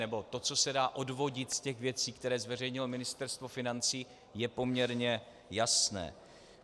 Nebo to, co se dá odvodit z těch věcí, které zveřejnilo Ministerstvo financí, je poměrně jasné.